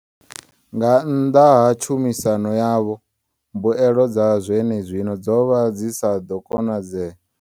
Nga nnḓa ha tshumisano yavho, mbuelo dza zwenezwino dzo vha dzi sa ḓo konadzea.